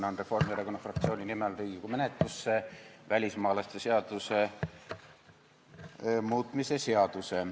Annan Reformierakonna fraktsiooni nimel Riigikogu menetlusse välismaalaste seaduse muutmise seaduse.